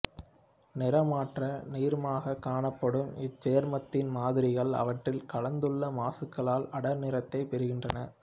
நிறமற்ற நீர்மமாக காணப்படும் இச்சேர்மத்தின் மாதிரிகள் அவற்றில் கலந்துள்ள மாசுக்களால் அடர் நிறத்தைப் பெறுகின்றன